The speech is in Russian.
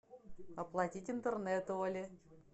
оплатить интернет оле